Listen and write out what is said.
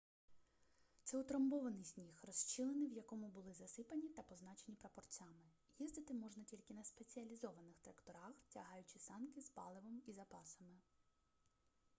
це утрамбований сніг розщілини в якому були засипані та позначені прапорцями їздити можна тільки на спеціалізованих тракторах тягаючи санки з паливом і запасами